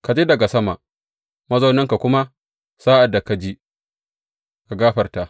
Ka ji daga sama, mazauninka, kuma sa’ad da ka ji, ka gafarta.